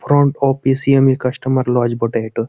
Front official customer লোজ বোটে এটা।